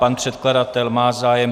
Pan předkladatel má zájem.